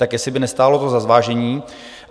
Tak jestli by to nestálo za zvážení.